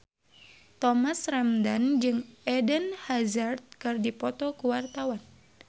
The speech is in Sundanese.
Thomas Ramdhan jeung Eden Hazard keur dipoto ku wartawan